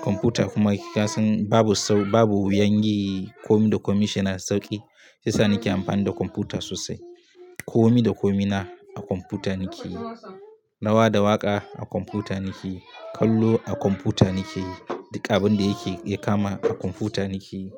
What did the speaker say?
Kwamfuta kuma kasan babu sau, babu wuyanyi. Komi da komin shina sauƙi. Yasa nake amfani da kwamfuta sosai. Komi da komina a kwamfuta nake yi. Nawa da waƙa a kwamfuta nake yi. Kallo a kwamfuta nake yi. Duka abin da yake ya kama a kwamfuta nake yi.